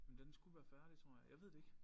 Men den skulle være færdig tror jeg jeg ved det ikke